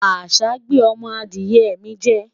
àṣà gbé ọmọ Adiye mi jẹ